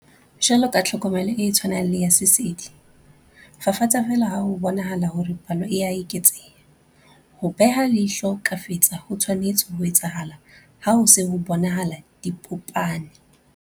Jwalo ka tlhokomelo e tshwanang le ya sesedi, fafatsa feela ha ho bonahala hore palo e a eketseha. Ho beha leihlo kafetsa ho tshwanetse ho etsahala ha ho se ho bonahala dipopane.